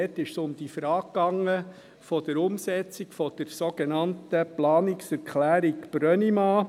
Dort ging es um die Frage der Umsetzung der sogenannten Planungserklärung Brönnimann.